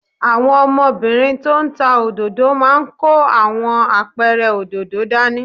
Àwọn ọmọbìnrin tó ń ta òdòdó máa ń kó àwọn apẹ̀rẹ̀ òdòdó dání